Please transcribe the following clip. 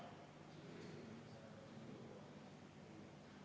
Juhtivkomisjoni seisukoht on jätta arvestamata.